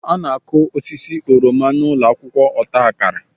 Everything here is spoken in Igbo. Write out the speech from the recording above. A na-akụ osisi oroma na ụlọ akwụkwọ ọta akara.